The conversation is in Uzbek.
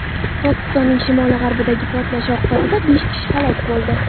Pokistonning shimoli-g‘arbidagi portlash oqibatida besh kishi halok bo‘ldi.